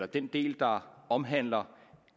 den del der omhandler